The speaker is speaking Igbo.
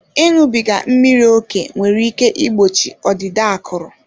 Ịṅụbiga mmiri ókè nwere ike igbochi ọdịda akụrụ.